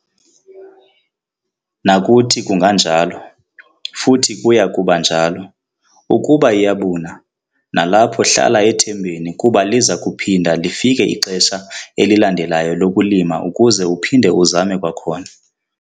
Nakuthi kunganjalo, futhi kuya kuba njalo. Ukuba iyabuna, nalapho hlala ethembeni kuba liza kuphinda lifike ixesha elilandelayo lokulima ukuze uphinde uzame kwakhona.